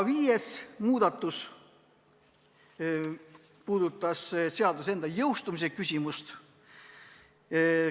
Viies muudatusettepanek puudutab seaduse jõustumist.